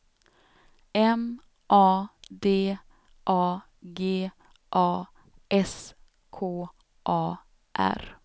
M A D A G A S K A R